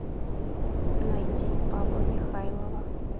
найди павла михайлова